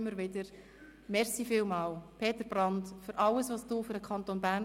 Ich freue mich darauf, anschliessend mit Ihnen allen in der Rathaushalle anzustossen.